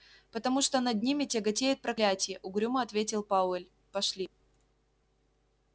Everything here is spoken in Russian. потому что над ними тяготеет проклятие угрюмо ответил пауэлл пошли